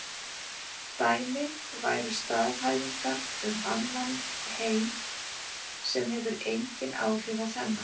Dæmi væru staðhæfingar um annan heim sem hefur engin áhrif á þennan.